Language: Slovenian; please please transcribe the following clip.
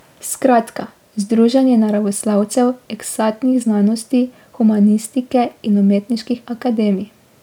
Skratka, združenje naravoslovcev, eksaktnih znanosti, humanistike in umetniških akademij.